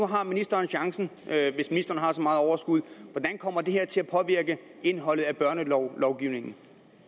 har ministeren chancen hvis ministeren har så meget overskud hvordan kommer det her til at påvirke indholdet af børnelovgivningen